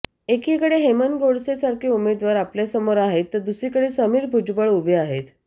एकिकडे हेमंत गोडसें सारखे उमेदवार आपल्यासमोर आहेत तर दुसरीकडे समीर भुजबळ उभे आहेत